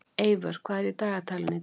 Eivör, hvað er í dagatalinu í dag?